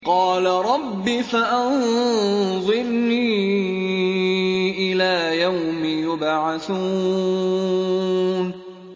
قَالَ رَبِّ فَأَنظِرْنِي إِلَىٰ يَوْمِ يُبْعَثُونَ